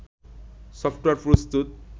software প্রস্তুত